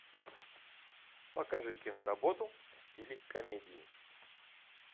покажи киноработу в стиле комедии